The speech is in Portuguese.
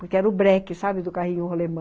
Porque era o breque, sabe, do carrinho rolemã.